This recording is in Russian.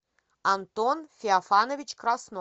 антон феофанович краснов